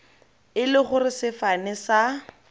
e le gore sefane sa